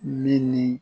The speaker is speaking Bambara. Min ni